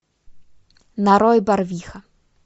нарой барвиха